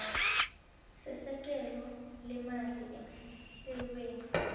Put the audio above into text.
sesekelo leemali emahlelweni